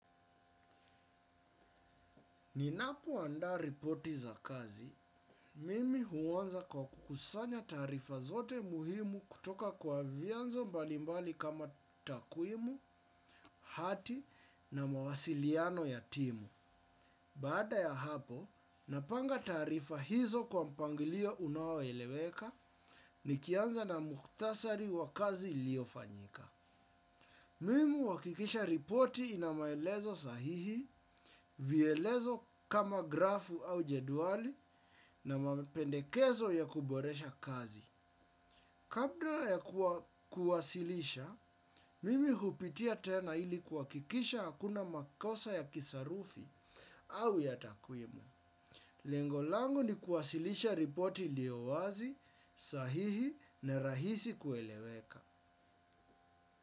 Ninapo andaa ripoti za kazi, mimi huonza kwa kukusanya taarifa zote muhimu kutoka kwa vianzo mbalimbali kama takuimu, hati na mawasiliano ya timu. Baada ya hapo, napanga taarifa hizo kwa mpangilio unaoeleweka nikianza na muhktasari wa kazi ilio fanyika. Mimi wakikisha ripoti inamaelezo sahihi, vielezo kama grafu au jeduali na mapendekezo ya kuboresha kazi. Kadra ya kuwasilisha, mimi hupitia tena ili kuhakikisha hakuna makosa ya kisarufi au yatakwimu. Lengo langu ni kuwasilisha ripoti iliowazi, sahihi na rahisi kueleweka.